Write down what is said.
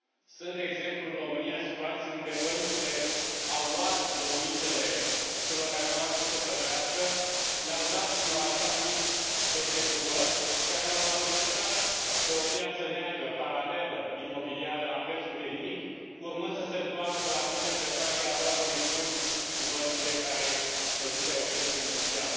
Sunt, de exemplu, în România, situații unde băncile au luat locuințele celor care nu au mai putut să plătească, le au dat unor așa anumiți executori, care le au valorificat pe o piață neagră, paralelă, imobiliară la prețuri de nimic, urmând să se întoarcă la anumite persoane care aveau conexiuni cu băncile care dăduseră creditul inițial.